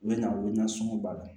U bɛ na u bɛ na sɔngɔ b'a la